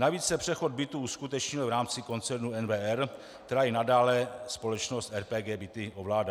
Navíc se přechod bytů uskutečnil v rámci koncernu NWR, který i nadále společnost RPG Byty ovládá.